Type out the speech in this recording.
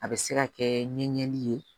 A bɛ se ka kɛ ɲɛli ye